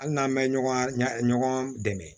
Hali n'an mɛ ɲɔgɔn dɛmɛ